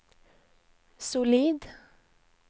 solid